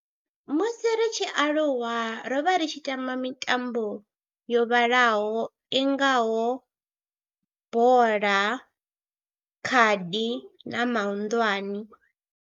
Musi ri tshi aluwa ro vha ri tshi tamba mitambo yo vhalaho i ngaho bola, khadi na mahunḓwane.